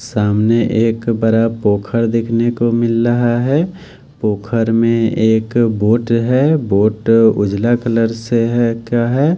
सामने एक बरा पोखर देखने को मिल रहा है पोखर में एक बोट है बोट उजला कलर से है क्या है--